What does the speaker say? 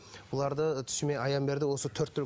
бұларды түсіме аян берді осы төрт түлік